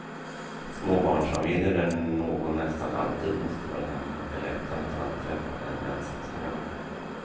Småbarnsfamiljer där någon nästan alltid måste vara hemma är lättare att anträffa än ensamstående.